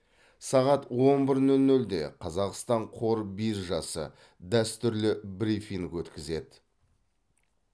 сағат он бір нөл нөлде қазақстан қор биржасы дәстүрлі брифинг өткізеді